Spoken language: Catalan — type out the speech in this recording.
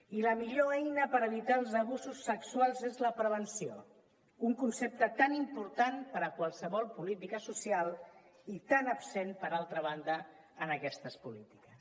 i la millor eina per evitar els abusos sexuals és la prevenció un concepte tan important per a qualsevol política social i tan absent per altra banda en aquestes polítiques